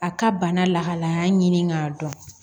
A ka bana lahalaya ɲini k'a dɔn